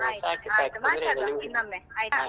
ಆಯ್ತುಆಯ್ತು ಮಾತಾಡುವ ಇನ್ನೊಮ್ಮೆ ಆಯ್ತಾ.